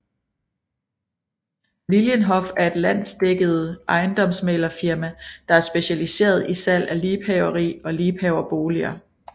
Lilienhoff er et landsdækkede ejendomsmæglerfirma der er specialiseret i salg af liebhaveri og liebhaverboliger